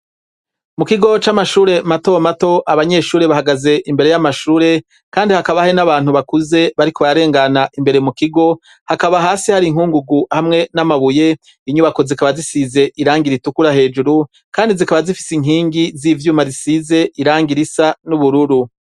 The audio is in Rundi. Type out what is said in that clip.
Mu kigo c'amashure y' intang' abanyeshuri bahagaz' imbere y'amashure bambay' umwambar' ubaranga, kandi hakaba hari n'abantu bakuze bafis' amasashe muntoki bariko bararengan' imbere mu kigo, hakaba hasi har' inkungugu hamwe n'amabuye matomato, inyubako zikaba zisakajwe n' amabat' atukura kandi zikaba zifis' inkingi z'ivyuma risiz' irangi risa n'ubururu.